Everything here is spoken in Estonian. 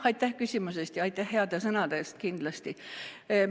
Aitäh küsimuse eest ja aitäh heade sõnade eest kindlasti!